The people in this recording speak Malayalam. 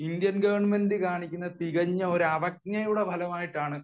ഇന്ത്യൻ ഗവണ്മെന്റ് കാണിക്കുന്ന തികഞ്ഞ ഒരു അവജ്ഞയോടെ ഭാഗമായിട്ടാണ്